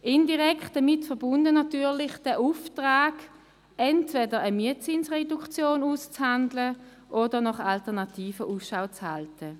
Indirekt damit verbunden ist natürlich der Auftrag, entweder eine Mietzinsreduktion auszuhandeln oder nach Alternativen Ausschau zu halten.